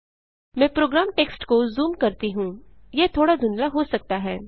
मैं program text को zoom करती हूँ यह थोड़ा धुंधला हो सकता है